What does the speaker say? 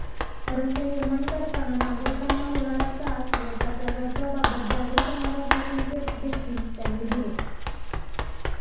रस्ते निर्माण करताना नागरिकांना होणारा त्रास व त्याच्या दर्जाबाबत जागरूक राहण्याचे संकेतदेखील त्यांनी दिले